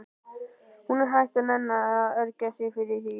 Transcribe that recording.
Hún er hætt að nenna að ergja sig yfir því.